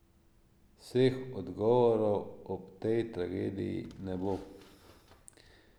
Vseh odgovorov ob tej tragediji ne bo.